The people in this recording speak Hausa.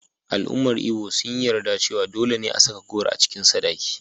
Al’ummar Ibo sun yi yarda cewa dole ne a saka goro cikin sadaki.